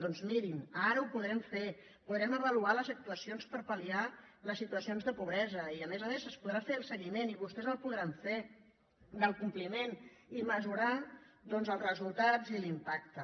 doncs mirin ara ho podrem fer podrem avaluar les actuacions per palsituacions de pobresa i a més a més se’n podrà fer el seguiment i vostès el podran fer del compliment i mesurar els resultats i l’impacte